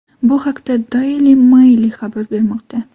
Bu haqda Daily Maily xabar bermoqda.